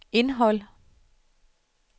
indhold